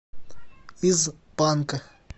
из панка